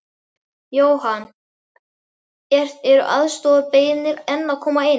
Jóhann: Eru aðstoðarbeiðnir enn að koma inn?